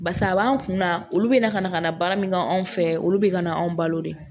Barisa a b'an kun na olu bɛ na ka na ka na baara min kɛ anw fɛ olu bɛ ka na anw balo de